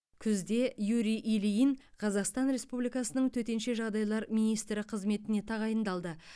күзде юрий ильин қазақстан республикасының төтенше жағдайлар министрі қызметіне тағайындалды